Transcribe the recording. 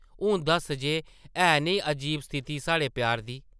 हून दस्स जे है नेईं अजीब स्थिति साढ़े प्यार दी?